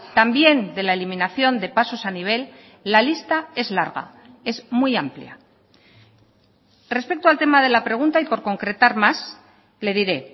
también de la eliminación de pasos a nivel la lista es larga es muy amplia respecto al tema de la pregunta y por concretar más le diré